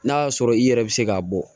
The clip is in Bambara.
N'a y'a sɔrɔ i yɛrɛ bɛ se k'a bɔ